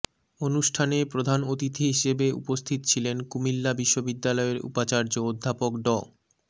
অনুষ্ঠানে প্রধান অতিথি হিসেবে উপস্থিত ছিলেন কুমিল্লা বিশ্ববিদ্যালয়ের উপাচার্য অধ্যাপক ড